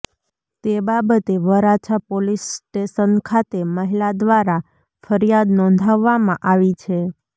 તે બાબતે Varachha police station ખાતે મહિલા દ્વારા ફરિયાદ નોંધાવામાં આવી છે